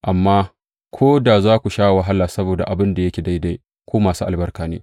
Amma ko da za ku sha wahala saboda abin da yake daidai, ku masu albarka ne.